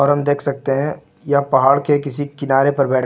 हम देख सकते हैं यह पहाड़ के किसी किनारे पर बै--